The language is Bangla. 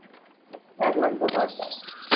এক লাখ দশ হাজার টাকা